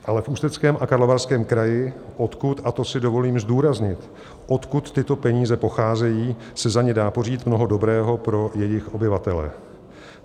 Ale v Ústeckém a Karlovarském kraji, odkud, a to si dovolím zdůraznit, odkud tyto peníze pocházejí, se za ně dá pořídit mnoho dobrého pro jejich obyvatele.